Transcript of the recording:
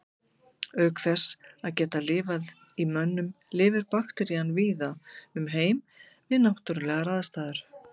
Auk þess að geta lifað í mönnum lifir bakterían víða um heim við náttúrulegar aðstæður.